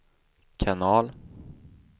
kanal